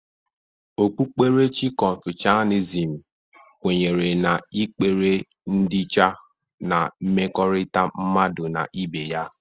Okpukperechi kọnfọsianịzm kwenyere n'ikpere ndịiche na mmekọrita mmadụ na ibe ya.